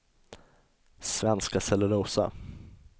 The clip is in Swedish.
Svenska Cellulosa